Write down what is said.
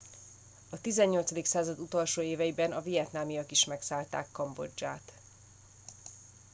a 18. század utolsó éveiben a vietnamiak is megszállták kambodzsát